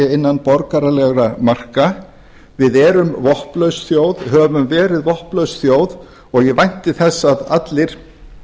innan borgaralegra marka við erum vopnlaus þjóð höfum verið vopnlaus þjóð og ég vænti þess að allir